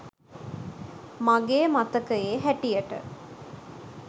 මගේ මතකයේ හැටියට